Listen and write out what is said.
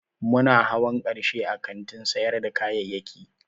Muna hawan karshe a kantin sayar da kayayyaki